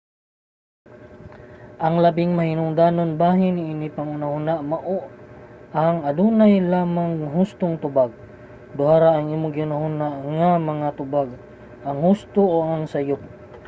ang labing mahinungdanong bahin niini nga panghunahuna mao ang: adunay usa lamang ka hustong tubag. duha ra ang imong gihunahuna nga mga tubag ang husto o ang sayup